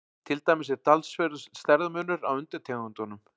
Til dæmis er talsverður stærðarmunur á undirtegundunum.